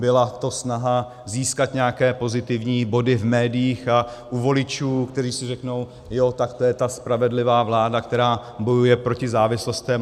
Byla to snaha získat nějaké pozitivní body v médiích a u voličů, kteří si řeknou jo, tak to je ta spravedlivá vláda, která bojuje proti závislostem.